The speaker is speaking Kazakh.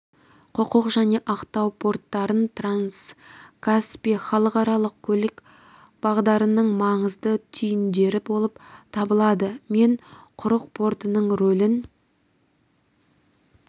құрық және ақтау порттары транскаспий халықаралық көлік бағдарының маңызды түйіндері болып табылады мен құрық портының рөлін